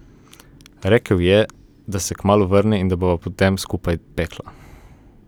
Rekel je, da se kmalu vrne in da bova potem skupaj pekla.